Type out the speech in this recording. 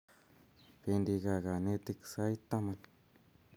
Pendi kaa kanetik sait taman